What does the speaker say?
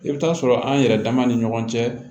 I bɛ taa sɔrɔ an yɛrɛ dama ni ɲɔgɔn cɛ